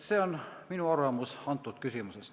See on minu arvamus selles küsimuses.